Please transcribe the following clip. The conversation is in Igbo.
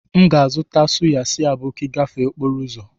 M ga-azụta suya si aboki gafee okporo ụzọ